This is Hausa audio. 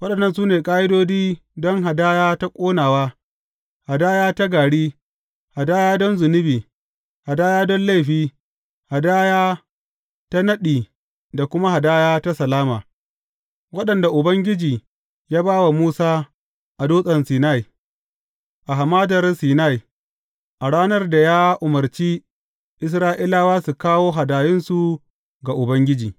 Waɗannan su ne ƙa’idodi don hadaya ta ƙonawa, hadaya ta gari, hadaya don zunubi, hadaya don laifi, hadaya ta naɗi da kuma hadaya ta salama, waɗanda Ubangiji ya ba wa Musa a Dutsen Sinai, a Hamadar Sinai, a ranar da ya umarci Isra’ilawa su kawo hadayunsu ga Ubangiji.